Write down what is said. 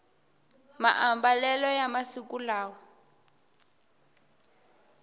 maambalelo ya masiku lawa